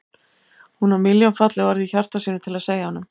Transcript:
Hún á milljón falleg orð í hjarta sínu til að segja honum.